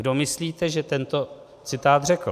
Kdo myslíte, že tento citát řekl?